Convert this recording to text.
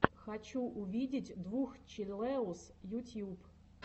хочу увидеть двух челэуз ютьюб